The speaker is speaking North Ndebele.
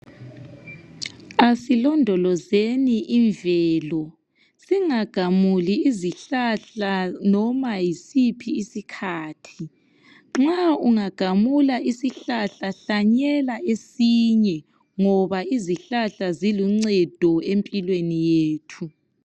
Asilondolozeni imvelo singagamuli izihlahla noma yisiphi isikhathi nxa ungagamula isihlahla hlanyela esinye ngoba izihlahla ziluncedo empilweni yethu.